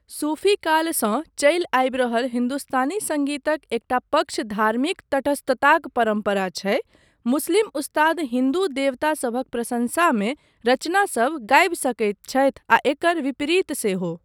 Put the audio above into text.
सूफी कालसँ चलि आबि रहल हिन्दुस्तानी सङ्गीतक एकटा पक्ष धार्मिक तटस्थताक परम्परा छै, मुस्लिम उस्ताद हिन्दू देवतासभक प्रशंसामे रचनासभ गाबि सकैत छथि आ एकर विपरीत सेहो।